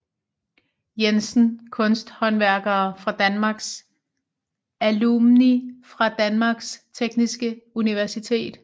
Jensen Kunsthåndværkere fra Danmark Alumni fra Danmarks Tekniske Universitet